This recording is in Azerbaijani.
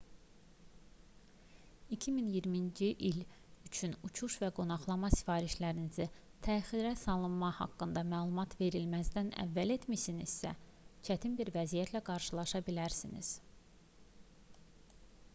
2020-ci il üçün uçuş və qonaqlama sifarişlərinizi təxirə salınma haqqında məlumat verilməzdən əvvəl etmisinizsə çətin bir vəziyyətlə qarşılaşa bilərsiniz